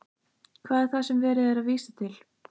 Hvað er það sem er verið að vísa til?